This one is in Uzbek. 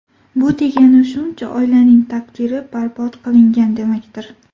Bu degani, shuncha oilaning taqdiri barbod qilingan demakdir.